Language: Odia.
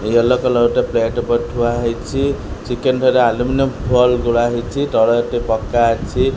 ୟେଲୋ କଲର୍ ଗୋଟେ ପ୍ଲେଟ ଉପରେ ଥୁଆ ହେଇଛି ଚିକେନ ଦିହରେ ଆଲୁମିନି ଫଏଲ୍ ଗୁଡା ହେଇଛି ତଳେ ଏଠି ପକ୍କା ଅଛି।